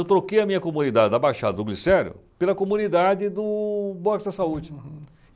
Eu troquei a minha comunidade da Baixada do Glicério pela comunidade do Boxa Saúde.